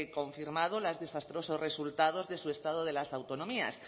confirmado los desastrosos resultados de su estado de las autonomías